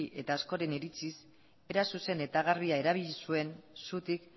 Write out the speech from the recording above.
eta askoren iritziz era zuzen eta garbia erabili zuen zutik